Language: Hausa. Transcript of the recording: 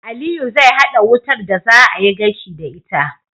Aliyu zai hada wutar da za a yi gashi da ita